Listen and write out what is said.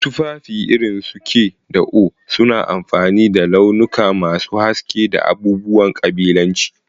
Tufafi irin su k da oé suna amfani da launuka masu haske da abubuwan ƙabilanci.